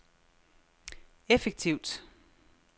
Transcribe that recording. effektivt